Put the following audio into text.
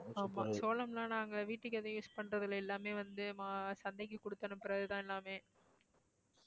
ஆமா சோளம்லாம் நாங்க வீட்டுக்கு எதுவும் use பண்றது இல்ல எல்லாமே வந்து மா~ சந்தைக்கு குடுத்து அனுப்புறதுதான் எல்லாமே